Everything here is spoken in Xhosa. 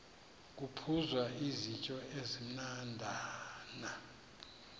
kuphuzwa izityo ezimnandana